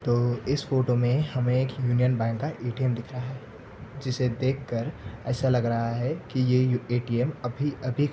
तो इस फोटो मे हमे एक यूनियन बैंक का ए_टी_एम दिख रहा है जिसे देख कर ऐसा लग रहा है की ये ए_टी_एम अभी अभी--